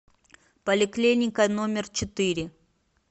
поликлиника номер четыре